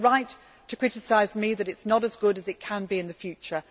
And you are right to criticise me that it is not as good as it can be in the future.